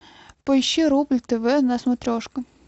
поищи рубль тв на смотрешка